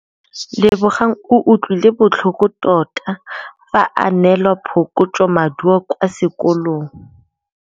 Lebogang o utlwile botlhoko tota fa a neelwa phokotsômaduô kwa sekolong.